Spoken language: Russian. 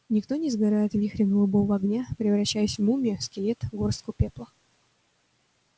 никто не сгорает в вихре голубого огня превращаясь в мумию скелет горстку пепла